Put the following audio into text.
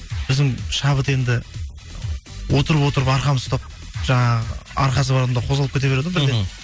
біздің шабыт енді отырып отырып арқамыз ұстап жаңағы арқасы бар адамдар қозғалып кете береді ғой бірден